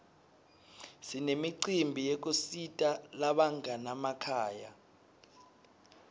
sinemicimbi yekusita labanganamakhaya